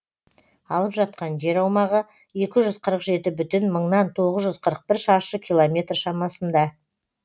алып жатқан жер аумағы екі жүз қырық жеті бүтін мыңнан тоғыз жүз қырық бір шаршы километр шамасында